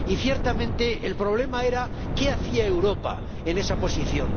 Y, ciertamente, el problema era qué hacía Europa en esa posición.